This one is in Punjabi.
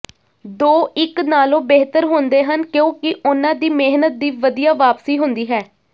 ਦੋ ਇਕ ਨਾਲੋਂ ਬਿਹਤਰ ਹੁੰਦੇ ਹਨ ਕਿਉਂਕਿ ਉਨ੍ਹਾਂ ਦੀ ਮਿਹਨਤ ਦੀ ਵਧੀਆ ਵਾਪਸੀ ਹੁੰਦੀ ਹੈ